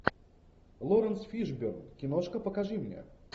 лоуренс фишборн киношка покажи мне